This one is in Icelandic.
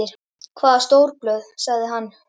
Hvaða stórblöð? sagði hann.